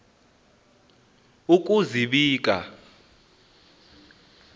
ukuzibika